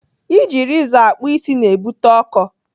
Iji rezọ akpụ isi na-ebute ọkọ.